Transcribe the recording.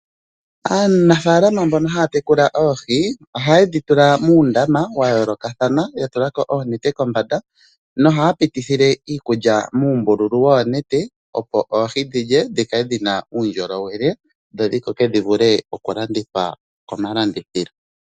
Aanafalama mbono haya tekula oohi ohaye dhi tula muundama wa yoolokathana, ya tulako oonete kombanda nohaya pitithile iikulya muumbululu woonete opo oohi dhi lye di kale dhi na uudnjolowele, dho dhi koke dhi vule okulandithwa komalandithilo.